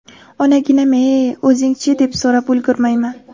Onaginam-ay, o‘zingiz-chi, deb so‘rab ulgurmayman.